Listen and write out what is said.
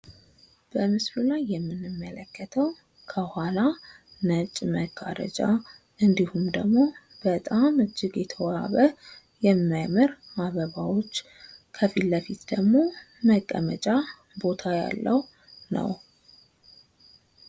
በምስሉ ላይ የምንመለከተው ከኋላ ነጭ መጋረጃ እንዲሁም ደግሞ በጣም እጂግ የተዋበ፣ የሚያምር አበባዎች ከፊት ለፊት ደግሞ መቀመጫ ቦታ ያለው ነው።